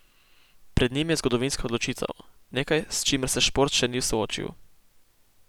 Pred njim je zgodovinska odločitev, nekaj, s čimer se šport še ni soočil.